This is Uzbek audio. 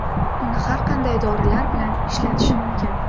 Uni har qanday dorilar bilan ishlatish mumkin.